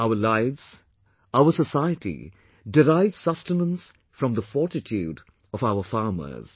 Our lives, our society derive sustenance from the fortitude of farmers